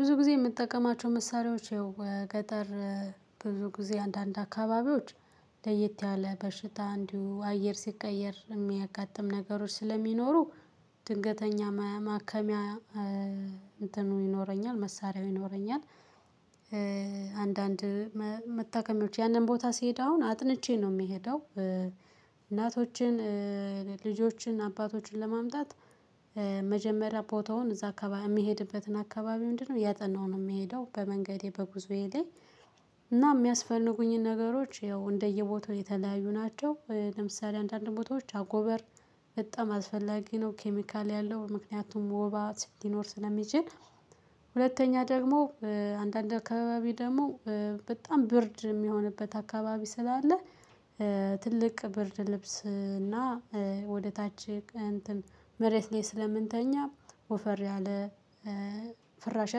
ብዙ ጊዜ የምትጠቀማቸው መሳሪያዎች ይኸው ገጠር ብዙ ጊዜ አንዳንድ አካባቢዎች ለየት ያለ በሽታ እንዲሁ አየር ሲቀየር የሚያጋጥም ነገሮች ስለሚኖሩ ድንገተኛ ማከሚያ። እንትኑ ይኖረኛል መሳሪያው ይኖረኛል። አንዳንድ መታከሚዎች ያንን ቦታ ሲሄድ አሁን አጥንቼ ነው የሚሄደው። እናቶችን ልጆችን አባቶችን ለማምጣት መጀመሪያ ቦታውን እዛ የሚሄድበትን አካባቢ ምንድነው ያጠናው ነው። የምሄደው በመንገዴ በጉዞዬ ላይ። እና የሚያስፈልጉኝን ነገሮች ያው እንደየቦታው የተለያዩ ናቸው። ለምሳሌ አንዳንድ ቦታዎች አጎበር በጣም አስፈላጊ ነው ኬሚካል ያለው ምክንያቱም ወባ ሲኖር ስለሚጅን። ሁለተኛ ደግሞ አንዳንድ አካባቢ ደግሞ በጣም ብርድ የሚሆንበት አካባቢ ስላለ። ትልቅ ብርድ ልብስ እና ወደ ታች መሬት ላይ ስለምንተኛ ወፈር ያለ ፍራሽ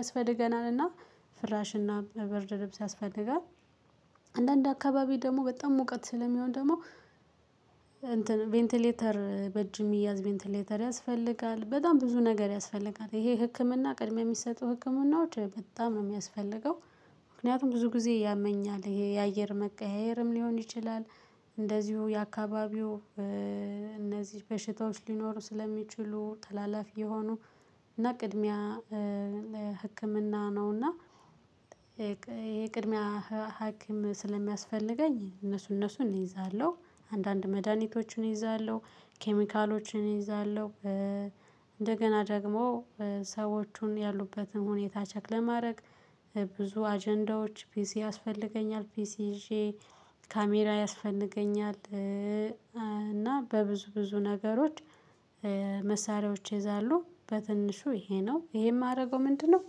ያስፈልገናልና ፍራሽና ብርድ ልብስ ያስፈልጋል። አንዳንድ አካባቢ ደግሞ በጣም ሙቀት ስለሚሆን ደግሞ ቬንቲሌተር በእጅ የሚያዝ ቬንቲሌተር ያስፈልጋል። በጣም ብዙ ነገር ያስፈልጋል ይሄ ህክምና ቅድሚያ የሚሰጡ ህክምናዎች በጣም ነው የሚያስፈልገው። ምክንያቱም ብዙ ጊዜ ያመኛል የአየር መቀያየርም ሊሆን ይችላል። እንደዚሁ የአካባቢው እነዚህ በሽታዎች ሊኖሩ ስለሚችሉ ተላላፊ የሆኑ እና ቅድሚያ ህክምና ነውና። የቅድሚያ ህክምና ስለሚያስፈልገኝ እነሱ እነሱን እይዛለሁ አንዳንድ መድሃኒቶቹን እይዛለሁ ኬሚካሎቹን እይዛለሁ። ደግሞ ሰዎቹን ያሉበትን ሁኔታ ቼክ ለማድረግ ብዙ አጀንዳዎች ፒሲ ያስፈልገኛል ፒሲ ይዤ ካሜራ ያስፈልገኛል። እና በብዙ ብዙ ነገሮች መሳሪያዎች ይይዛሉ በትንሹ ይሄ ነው ይሄ የማደርገው ምንድነው?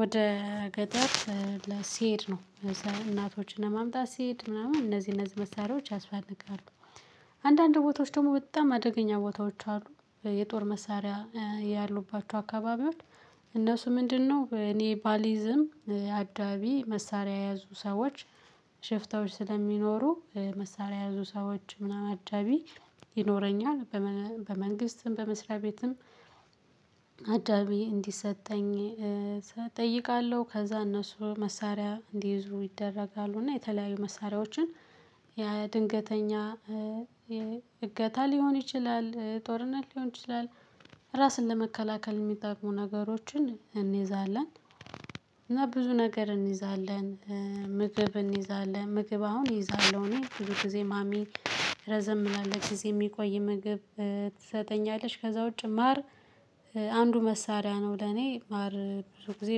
ወደ ገደብ ሲሄድ ነው። እዛ እናቶችን ለማምጣት ሲሄድ ምናምን እነዚህ እነዚህ መሳሪያዎች ያስፈልጋሉ። አንዳንድ ቦታዎች ደግሞ በጣም አደገኛ ቦታዎች አሉ። የጦር መሳሪያ ያሉባቸው አካባቢዎች እነሱ ምንድነው? እኔ ባሊዝም አዳቢ መሳሪያ የያዙ ሰዎች ሽፍታዎች ስለሚኖሩ መሳሪያ የያዙ ሰዎች ምናምን አጃቢ ይኖረኛል። በመንግስትም በመስሪያ ቤትም አጃቢ እንዲሰጠኝ እጠይቃለሁ። ከዛ እነሱ መሳሪያ እንዲይዙ ይደረጋሉ እና የተለያዩ መሳሪያዎችን ያ ድንገተኛ እገታ ሊሆን ይችላል ጦርነት ሊሆን ይችላል። ራስን ለመከላከል የሚጠቅሙ ነገሮችን እንይዛለን። እና ብዙ ነገር እንይዛለን ምግብ እንይዛለን ምግብ አሁን እይዛለሁ እኔ ብዙ ጊዜ ማሚ ረዘም ያለ ጊዜ የሚቆይ ምግብ። ትሰጠኛለች ከዛ ውጪ ማር አንዱ መሳሪያ ነው። ለኔ ማር ብዙ ጊዜ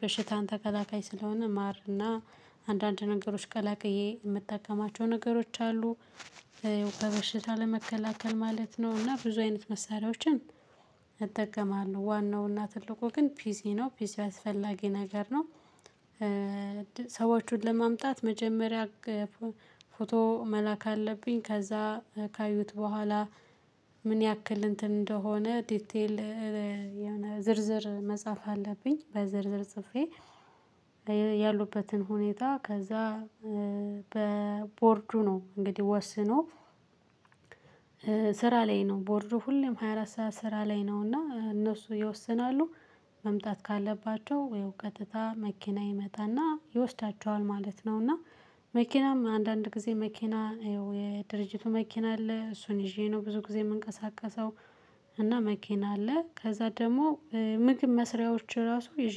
በሽታን ተከላካይ ስለሆነ ማር እና አንዳንድ ነገሮች ቀላቅዬ የምትጠቀማቸው ነገሮች አሉ። በበሽታ ለመከላከል ማለት ነው። እና ብዙ አይነት መሳሪያዎችን እጠቀማለሁ። ዋናውና ትልቁ ግን ፒሲ ነው ፒሲ አስፈላጊ ነገር ነው። ሰዎቹን ለማምጣት መጀመሪያ ፎቶ መላክ አለብኝ ከዛ ካዩት በኋላ ምን ያክል እንትን እንደሆነ ዲቴል የሆነ ዝርዝር መጽሐፍ አለብኝ። በዝርዝር ጽፌ ያሉበትን ሁኔታ ከዛ በቦርዱ ነው እንግዲህ ወስኖ። ስራ ላይ ነው ቦርዱ ሁሌም ሃያ አራት ሰዓት ስራ ላይ ነው እና እነሱ ይወስናሉ። መምጣት ካለባቸው ያው ቀጥታ መኪና ይመጣና ይወስዳቸዋል ማለት ነው። እና መኪናም አንዳንድ ጊዜ መኪና የድርጅቱ መኪና አለ እሱን ይዤ ነው ብዙ ጊዜ የምንቀሳቀሰው። እና መኪና አለ ከዛ ደግሞ ምግብ መስሪያዎች ራሱ ይዤ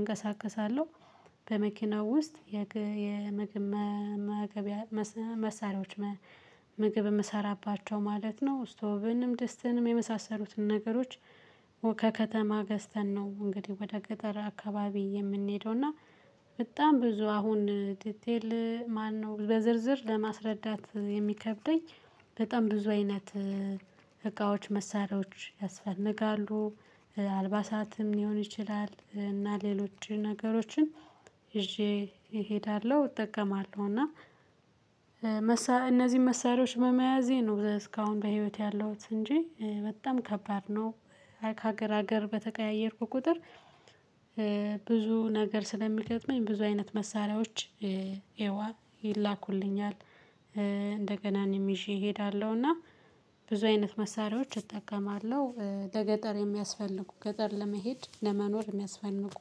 እንቀሳቀሳለሁ። በመኪናው ውስጥ የምግብ መሳሪያዎች ምግብ የምሰራባቸው ማለት ነው ስቶቭንም ደስትንም የመሳሰሉትን ነገሮች። ገዝተን ነው እንግዲህ ወደ ገጠር አካባቢ የምንሄደው። እና በጣም ብዙ አሁን ዲቴል ማነው በዝርዝር ለማስረዳት የሚከብደኝ። በጣም ብዙ አይነት መሳሪያዎች ያስፈልጋሉ። አልባሳትም ሊሆን ይችላል። እና ሌሎች ነገሮችን ይዤ እሄዳለሁ እጠቀማለሁ። እና እነዚህን መሳሪያዎች በመያዜ ነው እስካሁን በህይወት ያለውት እንጂ በጣም ከባድ ነው። ከሀገር ሀገር በተቀያየርኩ ቁጥር ብዙ ነገር ስለሚገጥመኝ ብዙ አይነት መሳሪያዎች። ይላኩልኛል። እንደገና እኔም ይዤ እሄዳለሁና። ብዙ አይነት መሳሪያዎች እጠቀማለሁ ለገጠር የሚያስፈልጉ ገጠር ለመሄድ ለመኖር የሚያስፈልጉ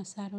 መሳሪያዎች